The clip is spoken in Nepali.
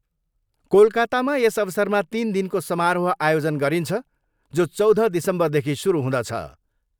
कोलाकातामा यस अवसरमा तिन दिनको समारोह आयोजन गरिन्छ जो चौध दिसम्बरदेखि सुरु हुँदछ।